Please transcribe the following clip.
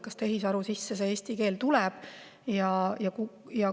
Kas tehisaru sisse eesti keel tuleb?